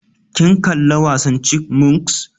Kin kalla wasan chipmunks?